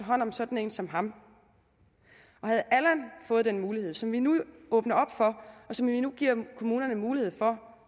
hånd om sådan en som ham havde allan fået den mulighed som vi nu åbner op for og som vi nu giver kommunerne mulighed for